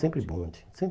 Sem sempre bonde.